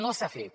no s’ha fet